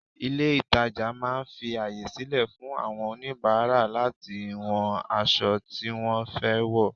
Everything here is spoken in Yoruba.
Ilé ìtàjà máà ń fi àyè sílẹ̀ fún àwọn oníbàárà láti wọ aṣọ tí wọ́n fẹ́ rà wò.